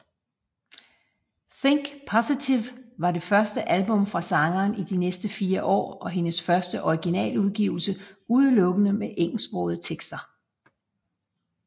Think Positive var det første album fra sangeren i næsten fire år og hendes første originaludgivelse udelukkende med engelsksprogede sange